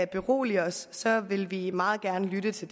berolige os så vil vi meget gerne lytte til